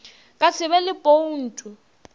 ka se be le boutu